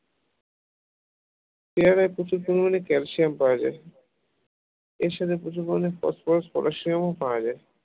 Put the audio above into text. পেয়ারায় প্রচুর পরিমাণে ক্যালসিয়াম পাওয়া যায় এর সাথে প্রচুর পরিমাণ ফসফরাস ও পটাশিয়াম পাওয়া যায়